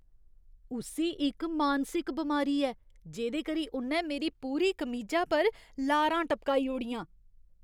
उस्सी इक मानसिक बमारी ऐ जेह्‌दे करी उ'न्नै मेरी पूरी कमीजा पर लारां टपकाई ओड़ियां।